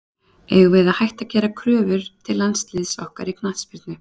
Eigum við að hætta að gera kröfur til landsliðs okkar í knattspyrnu?